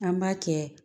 An b'a kɛ